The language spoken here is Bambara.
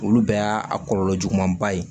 Olu bɛɛ y'a a kɔlɔlɔ juguman ba ye